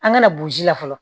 An kana burusi la fɔlɔ